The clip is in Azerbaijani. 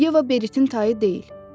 Yeva Beritin tayı deyil.